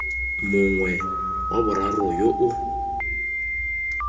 mongwe wa boraro yo o